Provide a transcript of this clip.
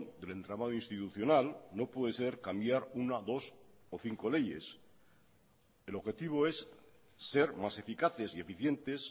del entramado institucional no puede ser cambiar una dos o cinco leyes el objetivo es ser más eficaces y eficientes